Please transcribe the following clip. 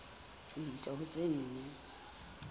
ho isa ho tse nne